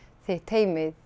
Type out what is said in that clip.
þitt teymi